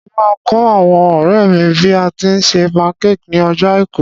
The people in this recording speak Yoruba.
Mo máa kọ́ àwọn ọ̀rẹ́ mi bí a tíi se pancake ní ọjọ́ àìkú.